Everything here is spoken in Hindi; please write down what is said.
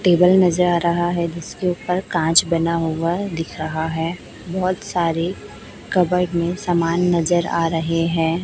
टेबल नजर आ रहा हैं जिसके ऊपर कांच बना हुआ दिख रहा है बहोत सारे कबर्ड में समान नजर आ रहे हैं।